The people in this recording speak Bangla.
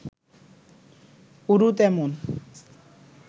উরু তেমন